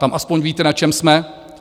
Tam alespoň víte, na čem jsme.